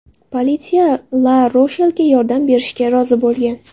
Politsiya LaRoshelga yordam berishga rozi bo‘lgan.